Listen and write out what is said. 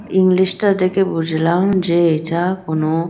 English -টা দেখে বুঝলাম যে এটা কোনো--